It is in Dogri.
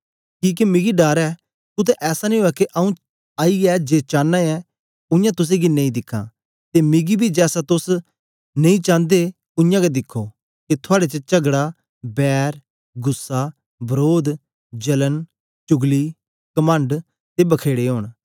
किके मिकी डर ऐ कुत्ते ऐसा नेई उवै के आंऊँ आईयै जे चांना ऐं उयां तुसेंगी नेई दिखां ते मिकी बी जैसा तोस नेई चांदे उयांगै दिखो के थुआड़े च चगड़ा बैर गुस्सा वरोध जलन चुगली कमंड ते बखेड़े ओंन